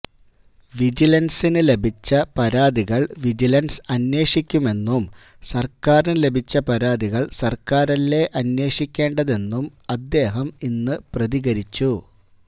വിജിലൻസിന് ലഭിച്ച പരാതികൾ വിജിലൻസ് അന്വേഷിക്കുമെന്നും സർക്കാരിന് ലഭിച്ച പരാതികൾ സർക്കാരല്ലേ അന്വേഷിക്കേണ്ടതെന്നും അദ്ദേഹം ഇന്ന് പ്രതികരിച്ചു